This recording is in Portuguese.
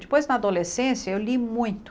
Depois, na adolescência, eu li muito.